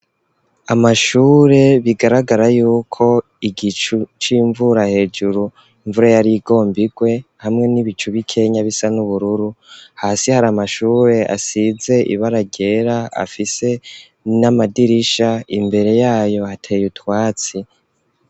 Amashure bigaragara yuko igicu c'imvura hejuru imvura yari igomba irwe hamwe n'ibicu bikenya bisa n'ubururu, hasi hari amashure asize ibara ryera afise n'amadirisha, imbere yayo hateye utwatsi.